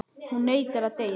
Hún neitar að deyja.